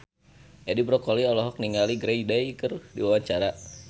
Edi Brokoli olohok ningali Green Day keur diwawancara